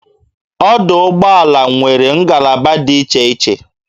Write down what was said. Ọdụ ụgbọala nwere ngalaba dị iche iche